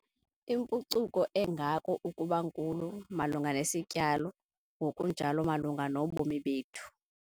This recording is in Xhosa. Impucuko engako ukuba nkulu - malunga nesityalo ngokunjalo malunga nobomi bethu.